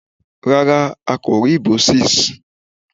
Rárá a kò rí ìbọ6